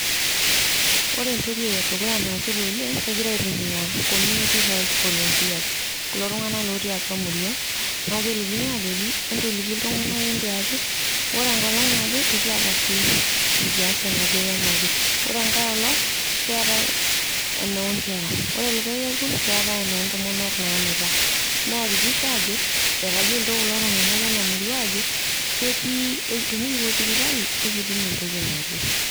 Ore entoki edukuya naasita oleng' kegira aitumiya community health volunteers kulo tung'anak lotii atua murua, neeku kelikini aajoki, entoliki iltung'anak entiaki, ore enkolong' naje ekiyata clinic nikiyas enaje wenaje, ore enkaeolong' keetai enoonkera, ore likae kekun keetai enoontomonok naanuta, neyakikisha aajo etayiolito kulo tung'anak lenamurua aajo ketii tenikipuo sipitali ekitumentoki naje.